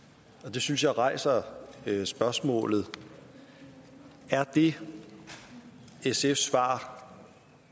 det synes jeg rejser spørgsmålet er det sfs svar